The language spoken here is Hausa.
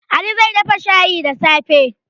Ali zai dafa shayi da safe.